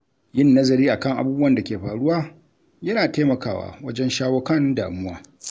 Yin nazari a kan abubuwan da ke faruwa yana taimakawa wajen shawo kan damuwa.